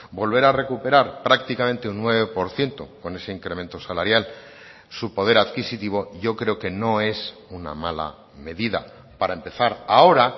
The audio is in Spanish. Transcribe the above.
volver a recuperar prácticamente un nueve por ciento con ese incremento salarial su poder adquisitivo yo creo que no es una mala medida para empezar ahora